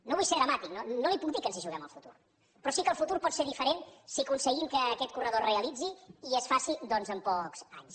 no vull ser dramàtic no no li puc dir que ens hi juguem el futur però sí que el futur pot ser diferent si aconseguim que aquest corredor es realitzi i es faci doncs en pocs anys